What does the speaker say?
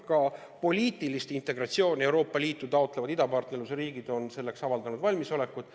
Ka poliitilist integratsiooni Euroopa Liiduga taotlevad idapartnerlusriigid on selleks avaldanud valmisolekut.